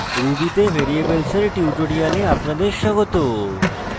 ruby তে variables এর tutorial আপনাদের স্বাগত